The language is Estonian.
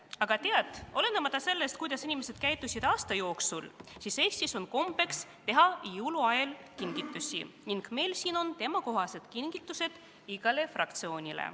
Aga tead, olenemata sellest, kuidas inimesed käitusid aasta jooksul, Eestis on kombeks teha jõuluajal kingitusi ning meil siin on teemakohased kingitused igale fraktsioonile.